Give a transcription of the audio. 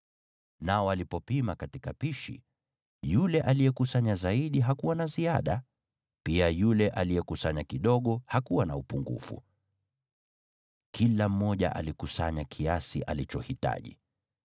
Nao walipopima katika pishi, yule aliyekusanya zaidi hakuwa na ziada, wala aliyekusanya kidogo hakupungukiwa. Kila mmoja alikusanya kiasi alichohitaji.